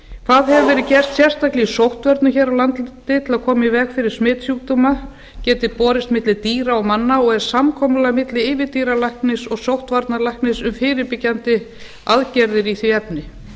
hvað hefur verið gert sérstaklega í sóttvörnum hér á landi til að koma í veg fyrir að smitsjúkdómar geti borist milli dýra og manna og er samkomulag milli yfirdýralæknis og sóttvarnalæknis um fyrirbyggjandi aðgerðir í því efni